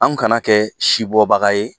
Anw kana kɛɛ si bɔ baga ye